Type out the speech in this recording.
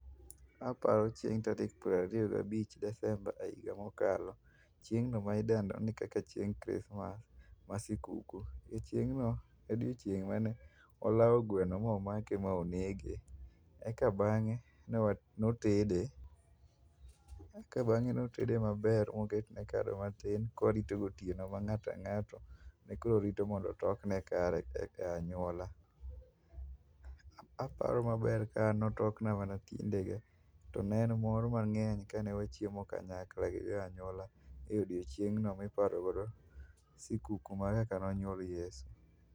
Aparo chieng' tarik piero ariyo gabich desemba e higa mokalo. Ching'no ma idendo ni kaka chieng' christmas ma sikuku, e chieng'no e odiochieng' mane walao gweno ma omake ma onege. Eka bang'e, newa notede. Eka bang'e notede maber mokotne kado matin kwarito gotieno ma ng'at ang'ata ne koro rito mondo otokne kare kaka anywola. Aparo maber ka an notokna mana tiendege, to ne mor mang'eny ka ne wachiemo kanyakla gi joanywola e odiochieng'no miparogodo, sikuku mar kaka nonywol Yesu.